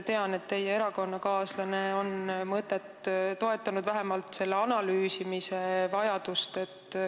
Tean, et teie erakonnakaaslane on mõtet toetanud, vähemalt selle analüüsimise vajadust.